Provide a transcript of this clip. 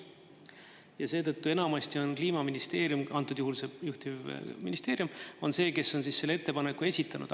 Ja seetõttu enamasti on Kliimaministeerium, antud juhul juhtiv ministeerium, on see, kes on selle ettepaneku esitanud.